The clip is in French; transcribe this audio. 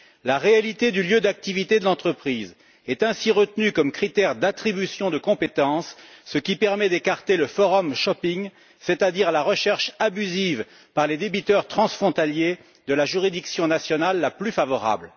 La réalité du lieu d'activité de l'entreprise est ainsi retenue comme critère d'attribution de compétences, ce qui permet d'écarter le forum shopping c'est à dire la recherche abusive par les débiteurs transfrontaliers de la juridiction nationale la plus favorable.